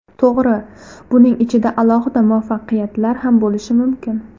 To‘g‘ri, buning ichida alohida muvaffaqiyatlar ham bo‘lishi mumkin.